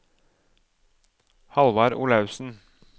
Hallvard Olaussen